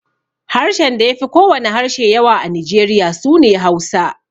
Harshen da ya fi ko wane harshe yawa a Nijeriya su ne Hausa.